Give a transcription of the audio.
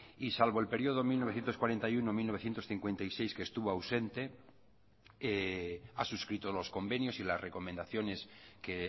y salvo el periodo mil novecientos cuarenta y uno mil novecientos cincuenta y seis que estuvo ausente ha suscrito los convenios y las recomendaciones que